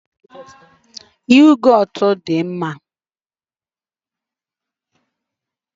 Yogotu dị mma nwere probiotics